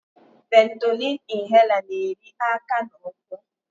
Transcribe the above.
Ventolin inhaler na-eri aka na ụkwụ.